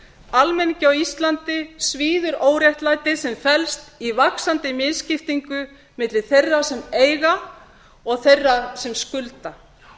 almenningi á íslandi svíður óréttlætið sem felst í vaxandi misskiptingu milli þeirra sem eiga og þeirra sem skulda